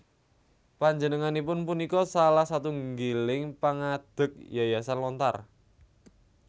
Panjenenganipun punika salah satunggiling pangadeg Yayasan Lontar